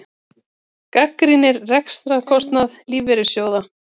Gagnrýnir rekstrarkostnað lífeyrissjóða